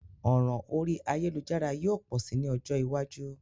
Òràn orí ayélujára yio pò si ni ojó iwájú